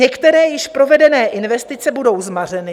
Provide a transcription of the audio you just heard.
Některé již provedené investice budou zmařeny.